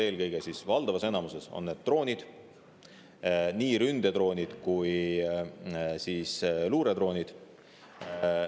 Eelkõige, valdavalt on need droonid, nii ründedroonid kui ka luuredroonid.